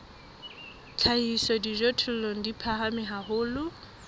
hlahisa dijothollo di phahame haholo